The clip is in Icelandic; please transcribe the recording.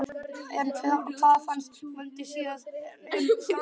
En hvað fannst Vöndu síðan um sjálfan leikinn?